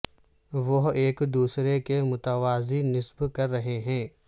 وہ ایک دوسرے کے متوازی نصب کر رہے ہیں